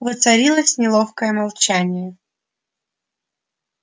воцарилось неловкое молчание